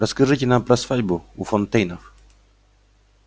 расскажите нам про свадьбу у фонтейнов